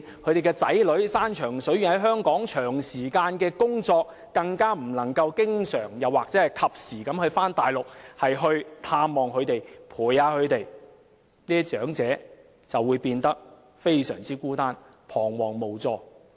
他們的子女遠在香港長時間工作，不能夠經常或及時到大陸探望及陪伴他們，這些長者便會變得非常孤單，彷徨無助。